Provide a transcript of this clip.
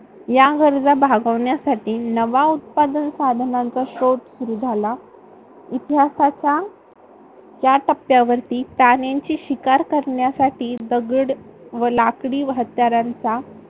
या गरजा भागवण्यासाठी नवा उत्पादन साधनांचा शोध सुरू झाला. इतिहासाच्या या टप्प्यावरती प्राण्यांची शिकार करण्यासाठी दगड व लाकडी हत्यारांचा